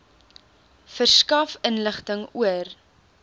verskaf inligting oor